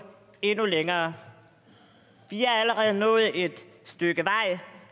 endnu længere vi er allerede nået et stykke vej